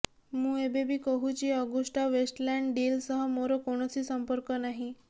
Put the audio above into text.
ମୁଁ ଏବେ ବି କହୁଛି ଅଗୁଷ୍ଟା ୱେଷ୍ଟଲ୍ୟାଣ୍ଡ ଡିଲ୍ ସହ ମୋର କୌଣସି ସମ୍ପର୍କ ନାହିଁ